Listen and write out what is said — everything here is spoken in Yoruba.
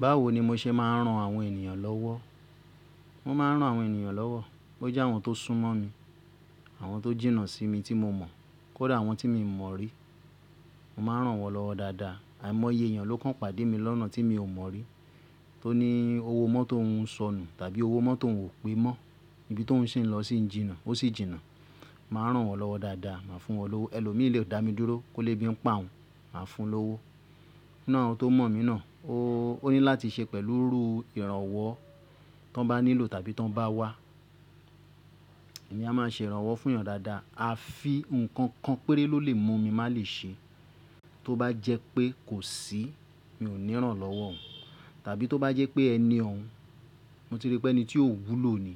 Báwo ni mo ṣe máa ń ran àwọn ènìyàn lọ́wọ́? Mo máa ń ran àwọn ènìyàn lọ́wọ́. Ó jẹ́ àwọn tó súnmọ́ mi, àwọn tó jìnnà sí mi tí mo mọ̀, kó dà àwọn tí mi mọ̀ rí. Mo máa rán wọ́n lọ́wọ́ dáadáa. Àìmọye èèyàn ló kan pàdé mi lọ́nà tí mi ò mọ̀ rí. Tó ní owó mọ́tò ouń sọnù tàbí owó mọ́tò oun o pé mọ́, ibi tó oun ṣi lọ sí jìnà, ó sì jìnà. Màá rán wọ́n lọ́wọ́ dáadáa, màá fún wọn lọ́wọ́. Ẹ̀lò mí lè dá mi dúró kó lébi ń pa òun, màá fún un lówó. Ninu awon tó mọ̀ mí náà, ó ní láti ṣe pẹ̀lú irànwọ́ tí wọ́n bá nílò tàbí tí wọ́n bá wá. Èmi a máa ṣe ìrànwọ́ fún èèyàn dáadáa. A fi nǹkan kan péré ló lè mú mi má lè ṣe. Tó bá jẹ́ pé kò sí, mi ò ní ràn án lọ́wọ́. Tàbí tó bá jẹ́ pé ẹni ọ̀ún, mo ti rí pé ẹni tí ò wúlò ni.